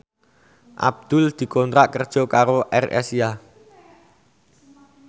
Abdul dikontrak kerja karo AirAsia